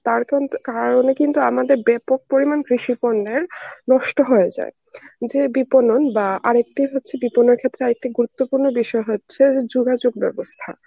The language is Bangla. তার কিন্তু কিন্তু আমাদের ব্যাপক পরিমাণ কৃষি পণ্যের নষ্ট হয়ে যায়. যে বিপণন বা আরেকটি হচ্ছে বিপনের ক্ষেত্রে আরেকটি গুরুত্বপূর্ণ বিষয় হচ্ছে যোগাযোগ ব্যবস্থা.